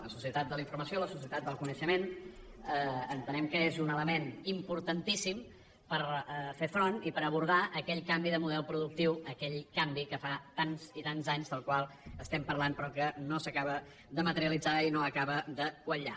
la societat de la informació la societat del coneixement entenem que és un element importantíssim per fer front i per abordar aquell canvi de model productiu aquell canvi que fa tants i tants anys que parlem però que no s’acaba de materialitzar i no acaba de quallar